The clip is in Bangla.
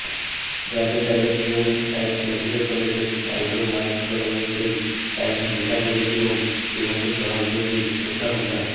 জানতে চাইলে গ্রিন লাইফ মেডিক্যাল কলেজের অ্যান্ডোক্রাইনলোজি অ্যান্ড মেটাবোলিজম বিভাগের সহযোগী অধ্যাপক ডা